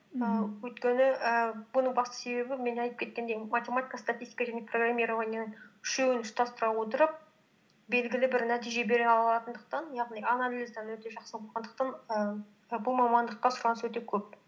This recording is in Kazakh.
мхм ііі өйткені ііі бұның басты себебі мен айтып кеткендей математика статистика және программированияның үшеуін ұштастыра отырып белгілі бір нәтиже бере алатындықтан яғни анализдан өте жақсы болғандықтан ііі бұл мамандыққа сұраныс өте көп